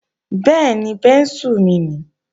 Bẹ́ẹ̀ni, bẹ́ńsù mi nii